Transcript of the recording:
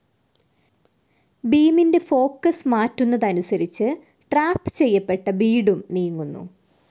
ബീമിൻ്റെ focus മാറ്റുന്നതനുസരിച്ച് trap ചെയ്യപ്പെട്ട ബീഡും നീങ്ങുന്നു.